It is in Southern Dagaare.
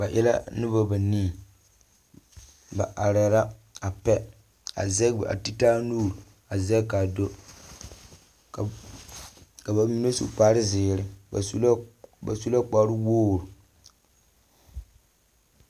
Ba e la noba banii. Ba arɛɛ la a pɛ. A zɛge a ti taa nuur a zɛge kaa do. Ka ba mine su kparezeere ba su la ba su kparewogri.